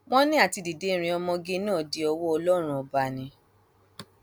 wọn ní àti dídé rin ọmọge náà dí ọwọ ọlọrun ọba ni